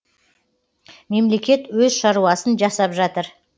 мемлекет өз шаруасын жасап жатыр